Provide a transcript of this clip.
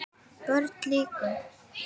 BÖRN LÝKUR